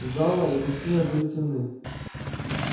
зала и гостиная были темны